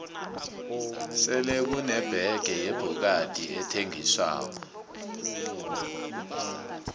sele kune bege yebhokadi ethengiswako